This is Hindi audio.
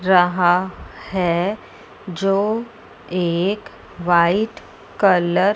जहां है जो एक वाइट कलर --